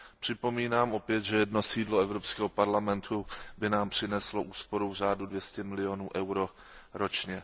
Připomínám opět, že jedno sídlo Evropského parlamentu by nám přineslo úsporu v řádu 200 milionů eur ročně.